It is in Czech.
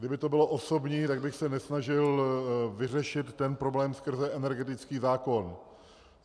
Kdyby to bylo osobní, tak bych se nesnažil vyřešit ten problém skrze energetický zákon.